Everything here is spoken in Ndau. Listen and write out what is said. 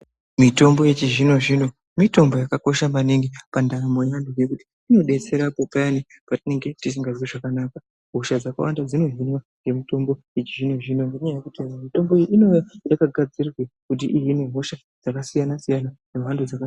Mitombo yechizvino-zvino mitombo yakakosha maningi pandaramo yeantu. Ngekuti inodetsera apo payani patinenge tisingazwi zvakanaka. Hosha dzakawanda dzinohinwa ngemitombo yechizvino-zvino ngenyaya yekuti mitombo iyi yakagadzirwe kuti ihine hosha dzakasiyana-siyana dzemhando dzaka...